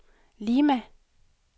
Lima